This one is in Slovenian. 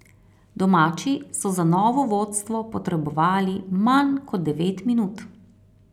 Domači so za novo vodstvo potrebovali manj kot devet minut.